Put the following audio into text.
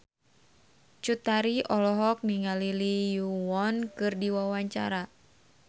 Cut Tari olohok ningali Lee Yo Won keur diwawancara